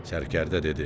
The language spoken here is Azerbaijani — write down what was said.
Sərkərdə dedi: